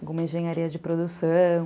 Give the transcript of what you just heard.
Alguma engenharia de produção.